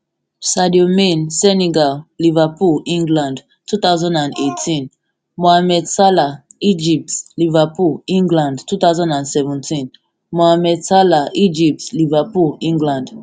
sadio man senegal liverpool england two thousand and eighteen mohamed salah egypt liverpool england two thousand and seventeen mohamed salah egypt liverpool england